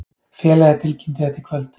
Félagið tilkynnti þetta í kvöld